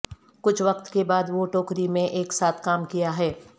کچھ وقت کے بعد وہ ٹوکری میں ایک ساتھ کام کیا ہے